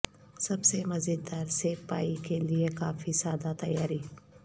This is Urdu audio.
سب سے مزیدار سیب پائی کے لئے کافی سادہ تیاری